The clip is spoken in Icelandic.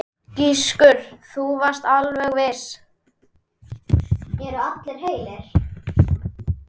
Gissur: Þú varst alveg viss?